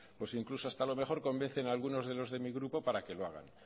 pues incluso hasta lo mejor convencen a algunos de los de mi grupo para que lo hagan